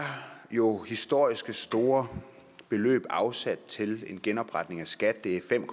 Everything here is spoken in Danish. jo historisk store beløb afsat til en genopretning af skat det er fem